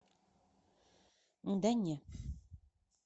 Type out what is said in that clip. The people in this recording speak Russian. да не